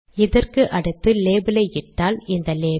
இதற்கு அடுத்து லேபல் ஐ இட்டால் இந்த லேபல்